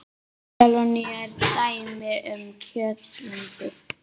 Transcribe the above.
Melónur eru dæmi um kjötaldin.